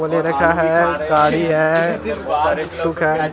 होने रखा है गाड़ी है शुक है।